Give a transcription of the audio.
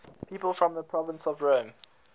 people from the province of rome